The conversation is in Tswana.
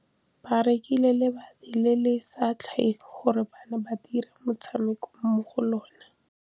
Ba rekile lebati le le setlha gore bana ba dire motshameko mo go lona.